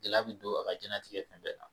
Gɛlɛya bɛ don a ka diɲɛlatigɛ fɛn bɛɛ la